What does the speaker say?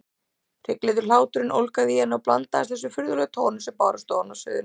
Hryglukenndur hláturinn ólgaði í henni og blandaðist þessum furðulegum tónum sem bárust ofan af sviðinu.